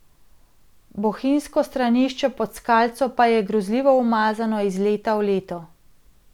Bohinjsko stranišče Pod skalco pa je grozljivo umazano iz leta v leto.